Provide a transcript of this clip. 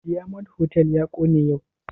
Diyamond hotal ya kone yau